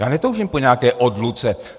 Já netoužím po nějaké odluce.